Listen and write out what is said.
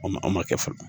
O ma aw ma kɛ fɔlɔ